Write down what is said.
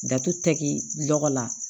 Dato tɛgɛ lɔgɔ la